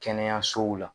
Kɛnɛyasow la